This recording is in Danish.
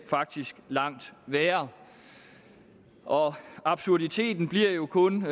faktisk langt værre og absurditeten bliver jo kun